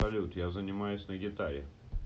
салют я занимаюсь на гитаре